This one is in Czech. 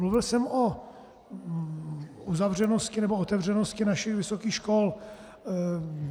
Mluvil jsem o uzavřenosti nebo otevřenosti našich vysokých škol.